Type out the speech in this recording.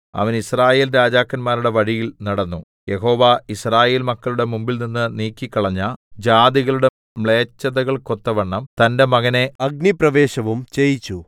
അവൻ യിസ്രായേൽ രാജാക്കന്മാരുടെ വഴിയിൽ നടന്നു യഹോവ യിസ്രായേൽ മക്കളുടെ മുമ്പിൽനിന്ന് നീക്കിക്കളഞ്ഞ ജാതികളുടെ മ്ലേച്ഛതകൾക്കൊത്തവണ്ണം തന്റെ മകനെ അഗ്നിപ്രവേശവും ചെയ്യിച്ചു